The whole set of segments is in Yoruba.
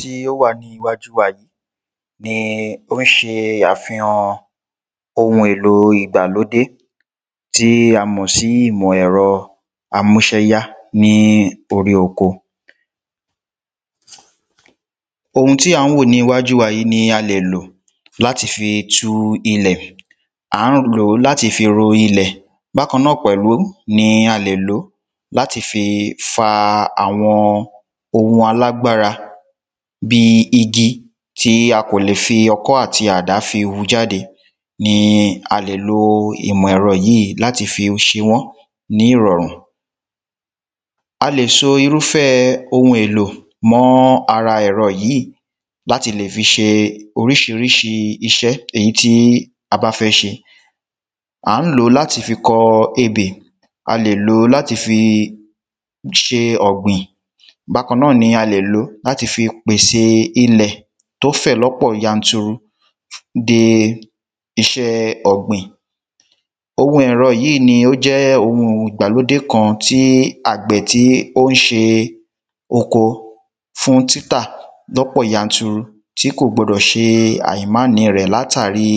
Tí o wa ni iwájú wa yìí ní o n ṣe afíhàn Òun èlò ìgbàlódé tí a mọ̀ sí ìmọ̀ ẹ̀rọ́ amúṣẹ́yá ní orí oko Òun tí an wo ni iwájú wa yìí ní a lè lò láti fi tú ilẹ̀, a lè lò láti fi ro ilẹ̀, bakan na pẹ̀lú ní a lè lo láti fi fá awọn òun alágbára bí igi tí a kò lè fi ọkọ́ ati àdá fi wu ja de ni alè lo ìmọ̀ ẹrọ́ yìí láti fí se wan ní ìrànrù. A lè so irúfẹ́ oun èlò mọ ara ẹrọ́ yìí láti lè fi ṣe oríṣiríṣi iṣẹ́ èyí tí abá fẹ́ se. À n lo lá tí fi kọ èbè., a lè lo láti fí ṣe ọ̀gbìn bakan na ní a lè lo lati fi pèsè ilẹ̀ to fẹ lọ́pọ̀ yanturu de iṣẹ́ ògbìn. Oun ẹrọ́ yìí ni o jẹ́ oun ìgbàlódé kan tí àgbè tí o n ṣe koo fún títà lọ́pọ̀ yanturu tí kò gbodò ṣe àìḿani rẹ̀ látarí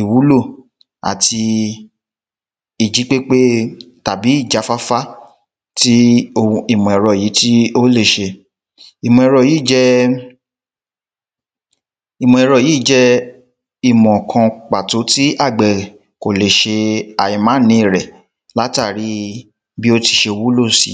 ìwúlò ati ìjípépé tàbí ìjá fáfá tí òun ìmọ̀ ẹrọ́ yìí le ṣe. Ìmọ̀ ẹrọ́ yìí jé. Ìmọ̀ ẹrọ́ yìí jé ìmọ̀ kan pàtó tí àgbẹ̀ kò le se àìḿani rẹ̀ látarí bi o ti ṣe wúlò si